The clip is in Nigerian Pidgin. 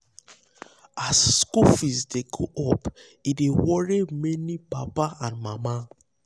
as school fees dey go up e dey worry many papa and mama.